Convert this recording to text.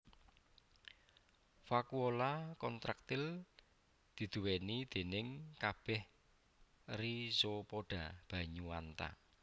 Vakuola kontraktil diduwèni déning kabeh rhizopoda banyu anta